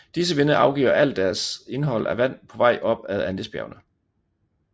Disse vinde afgiver alt deres indhold af vand på vej op ad Andesbjergene